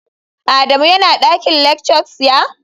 Adamu yana dakin lectures, ya?